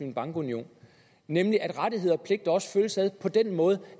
en bankunion nemlig at rettigheder og pligter også følges ad på den måde